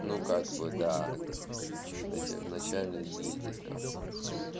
ну как бы да сна в начале есть дискомфорт